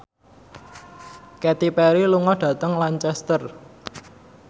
Katy Perry lunga dhateng Lancaster